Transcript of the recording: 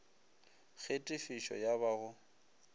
ge tefišo ya ba go